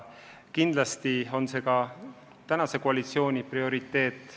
Kindlasti on see ka koalitsiooni prioriteet.